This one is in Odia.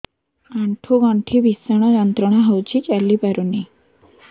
ଆଣ୍ଠୁ ଗଣ୍ଠି ଭିଷଣ ଯନ୍ତ୍ରଣା ହଉଛି ଚାଲି ପାରୁନି